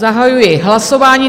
Zahajuji hlasování.